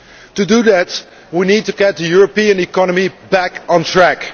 To do that, we need to get the European economy back on track.